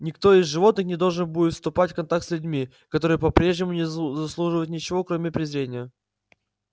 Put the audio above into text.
никто из животных не должен будет вступать в контакт с людьми которые по-прежнему не заслуживают ничего кроме презрения